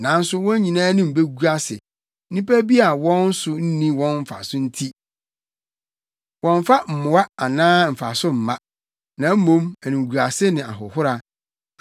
nanso wɔn nyinaa anim begu ase nnipa bi a wɔn so nni wɔn mfaso nti, wɔmmfa mmoa anaa mfaso mma, na mmom animguase ne ahohora.”